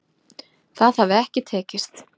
Það hafi ekki tekist